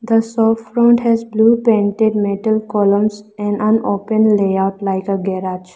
the shop front has blue painted metal columns and an open layout like a garage.